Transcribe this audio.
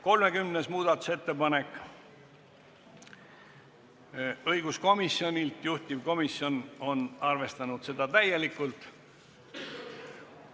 30. muudatusettepanekki on õiguskomisjonilt ja juhtivkomisjon on arvestanud seda täielikult.